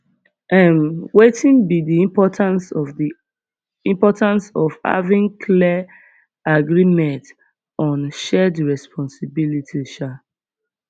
um wetin be di importance of di importance of having claer agreement on shared responsibilities um